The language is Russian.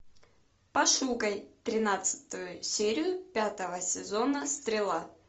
пошукай тринадцатую серию пятого сезона стрела